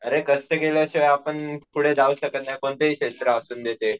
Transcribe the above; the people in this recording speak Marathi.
अरे कष्ट केल्याशिवाय आपण पुढे जाऊच शकत नाही कोणतेही क्षेत्र असून दे ते.